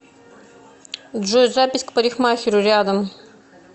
джой запись к парикмахеру рядом